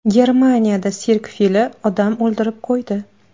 Germaniyada sirk fili odam o‘ldirib qo‘ydi.